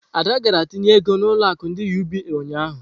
Ada gara tinye ego na ulo akụ ndi UBA ụnyahụ.